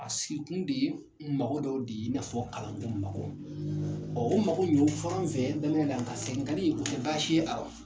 A siki kun de ye mako dɔw de ye, i n'a fɔ kalandenw mako, o mako in o fɔr'an fɛ nka seginkani, o tɛ baasi ye a rɔ.